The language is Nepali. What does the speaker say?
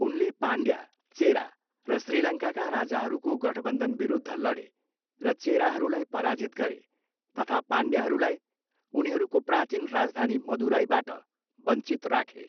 उनले पाण्ड्य, चेरा र श्रीलङ्काका राजाहरूको गठबन्धनविरुद्ध लडे र चेराहरूलाई पराजित गरे तथा पाण्ड्याहरूलाई उनीहरूको प्राचीन राजधानी मदुराईबाट बञ्चित राखे।